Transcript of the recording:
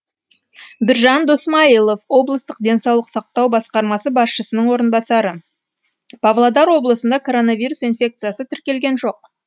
біржан досмайылов облыстық денсаулық сақтау басқармасы басшысының орынбасары павлодар облысында коронавирус инфекциясы тіркелген жоқ